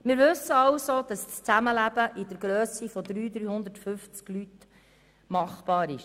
Wir wissen also, dass das Zusammenleben mit 300 bis 350 Menschen machbar ist.